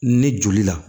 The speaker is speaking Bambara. Ni joli la